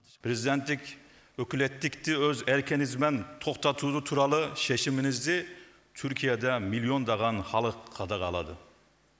президенттік өкілеттикти өз еркіңізбен тоқтату туралы шешіміңізді түркияда миллиондаған халық қадағалады